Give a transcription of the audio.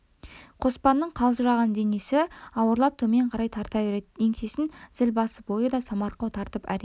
қоспанның қалжыраған денесі ауырлап төмен қарай тарта береді еңсесін зіл басып ойы да самарқау тартып әрең